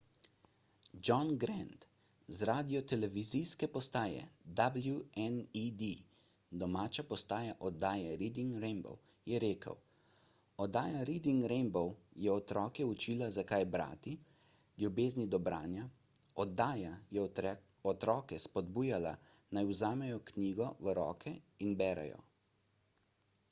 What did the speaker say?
john grant z radiotelevizijske postaje wned domača postaja oddaje reading rainbow je rekel: oddaja reading rainbow je otroke učila zakaj brati ... ljubezni do branja – [oddaja] je otroke spodbujala naj vzamejo knjigo v roke in berejo.